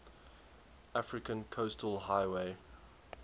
african coastal highway